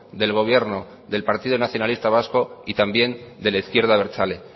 del gobierno del partido nacionalista vasco y también de la izquierda abertzale